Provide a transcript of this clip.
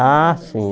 Ah, sim.